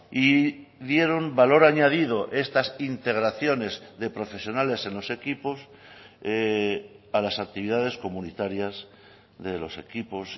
y dieron valor añadido estas integraciones de profesionales en los equipos a las actividades comunitarias de los equipos